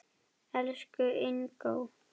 Elsku Ingó.